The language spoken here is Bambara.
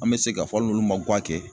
An bɛ se ka fɔ hali n'olu ma guwa kɛ